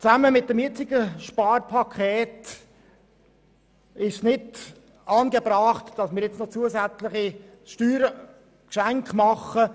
Zusammen mit dem jetzigen Sparpaket ist es nicht angebracht, nun noch zusätzliche Steuergeschenke zu machen.